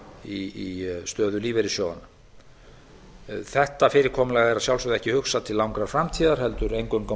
í stöðu lífeyrissjóðanna þetta fyrirkomulag er að sjálfsögðu ekki hugsað til langrar framtíðar heldur eingöngu á